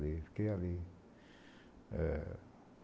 Fiquei fiquei ali. Eh